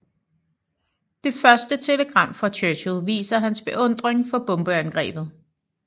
Det første telegram fra Churchill viser hans beundring for bombeangrebet